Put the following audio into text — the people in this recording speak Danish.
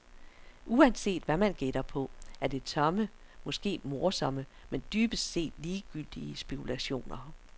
Uanset hvad man gætter på, er det tomme, måske morsomme, men dybest set ligegyldige spekulationer.